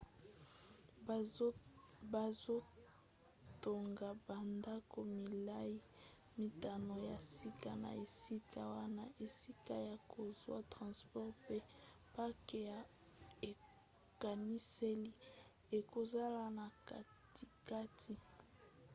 bazotonga bandako milai mitano ya sika na esika wana esika ya kozwa transport mpe parke ya ekaniseli ekozala na katikati